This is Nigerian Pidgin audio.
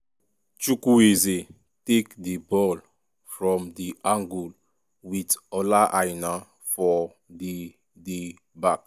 chukwueze take di ball from di angle wit ola aina for di di back.